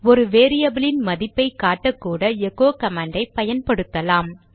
ஒரு வேரியபிலின் மதிப்பை காட்டக்கூட எகோ கமாண்டை பயன்படுத்தலாம்